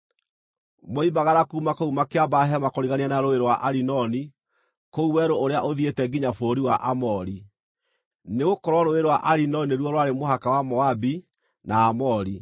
Moimagara kuuma kũu makĩamba hema kũrigania na Rũũĩ rwa Arinoni, kũu werũ ũrĩa ũthiĩte nginya bũrũri wa Aamori; nĩgũkorwo Rũũĩ rwa Arinoni nĩruo rwarĩ mũhaka wa Moabi na Aamori.